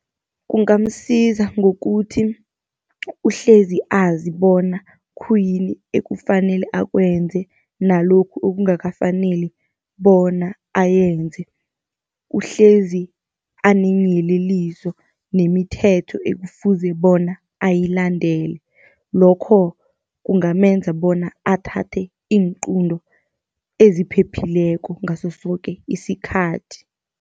Kungamsiza ngokuthi uhlezi azi bona khuyini ekufanele akwenze, nalokhu okungakafaneli bona ayenze. Uhlezi aneenyeleliso nemithetho ekufuze bona ayilandele, lokho kungamenza bona athathe iinqunto eziphephileko ngaso soke isikhathi.